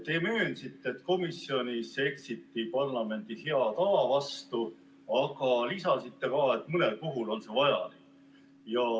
Te möönsite, et komisjonis eksiti parlamendi hea tava vastu, aga lisasite, et mõnel juhul on see vajalik.